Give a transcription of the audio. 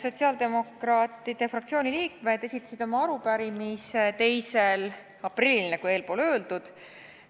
Sotsiaaldemokraatide fraktsiooni liikmed esitasid oma arupärimise 2. aprillil, nagu enne öeldud.